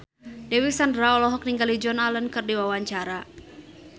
Dewi Sandra olohok ningali Joan Allen keur diwawancara